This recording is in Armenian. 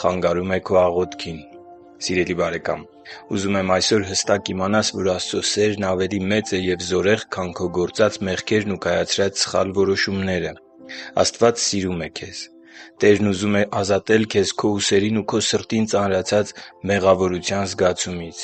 խանգարում է քո աղոթքին․․․ Սիրելի՛ բարեկամ, ուզում եմ այսօր հստակ իմանաս, որ Աստծո սերն ավելի մեծ է և զորեղ, քան քո գործած մեղքերն ու կայացրած սխալ որոշումները: Աստված սիրում է քեզ։ Տերն ուզում է ազատել քեզ քո ուսերին և քո սրտին ծանրացած մեղավորության զգացումից։